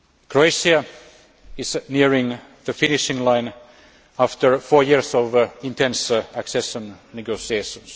Croatia is nearing the finishing line after four years of intense accession negotiations.